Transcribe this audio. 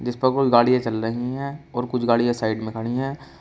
कुछ गाड़ियां चल रही हैं और कुछ गाड़ियां साइड में खड़ी हैं।